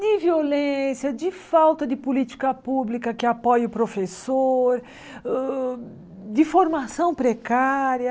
De violência, de falta de política pública que apoie o professor, uh de formação precária...